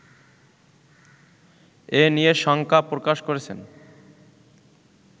এ নিয়ে শঙ্কা প্রকাশ করেছেন